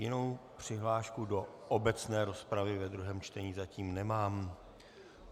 Jinou přihlášku do obecné rozpravy ve druhém čtení zatím nemám.